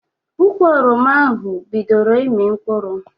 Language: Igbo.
Ụkwụ oroma ahụ ọ bidoro ịmi mkpụrụ?